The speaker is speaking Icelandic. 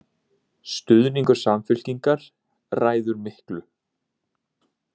Stuðningur Samfylkingar ræður miklu